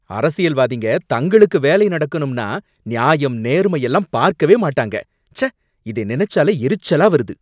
அரசியல்வாதிங்க தங்களுக்கு வேலை நடக்கணும்னா நியாயம், நேர்மை எல்லாம் பார்க்கவே மாட்டாங்க, ச்சே இத நினைச்சாலே எரிச்சலா வருது